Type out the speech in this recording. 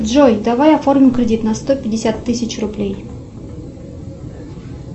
джой давай оформим кредит на сто пятьдесят тысяч рублей